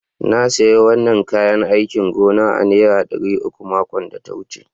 Na siya wanan kayán áikìn gona a'nera Dari uku makon da ta wuce.